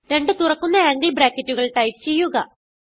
രണ്ട് തുറക്കുന്ന ആംഗിൾ ബ്രാക്കറ്റുകൾ ടൈപ്പ് ചെയ്യുക